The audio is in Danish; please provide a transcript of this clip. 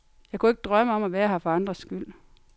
Jeg kunne ikke drømme om at være her for andres skyld.